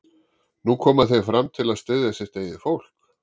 Nú koma þeir fram til að styðja sitt eigið fólk?